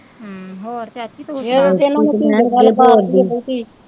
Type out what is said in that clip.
ਹਮ ਹੋਰ ਚਾਚੀ ਤੂ ਸੁਨਾ ਹੋਰ ਕੀ,